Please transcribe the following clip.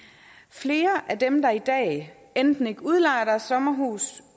flere af dem der i dag enten ikke udlejer deres sommerhus